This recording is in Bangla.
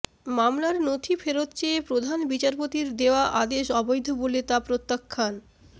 মামলার নথি ফেরত চেয়ে প্রধান বিচারপতির দেওয়া আদেশ অবৈধ বলে তা প্রত্যাখ্যান